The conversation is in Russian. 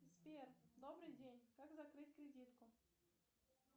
сбер добрый день как закрыть кредитку